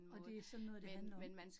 Og det sådan noget, det handler om